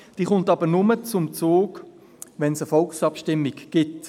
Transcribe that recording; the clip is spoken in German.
Diese kommt aber nur zum Zug, wenn es eine Volksabstimmung gibt.